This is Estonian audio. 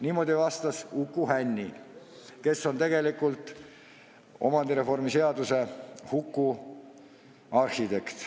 Niimoodi vastas Uku Hänni, kes on tegelikult omandireformi seaduse huku arhitekt.